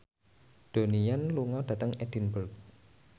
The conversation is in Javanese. Donnie Yan lunga dhateng Edinburgh